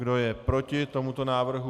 Kdo je proti tomuto návrhu?